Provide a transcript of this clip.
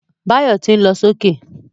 Báyọ̀ tí ń lọ sókè